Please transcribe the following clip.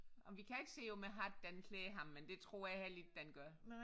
Ej men vi kan ikke se om den hat den klæder ham men det tror jeg heller ikke den gør